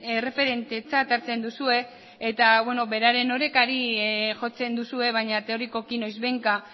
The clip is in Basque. erreferentetzat hartzen duzue eta beraren orekari jotzen duzue baina teorikoki noizbehinka